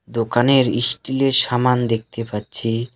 দোকানের ইস্টিলের সামান দেখতে পাচ্ছি.